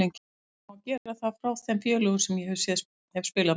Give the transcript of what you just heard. Ég veit hvernig á að gera það frá þeim félögum sem ég hef spilað með.